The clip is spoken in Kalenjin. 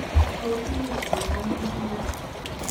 tos much keyan inendet?